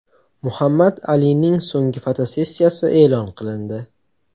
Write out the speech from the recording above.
Muhammad Alining so‘nggi fotosessiyasi e’lon qilindi.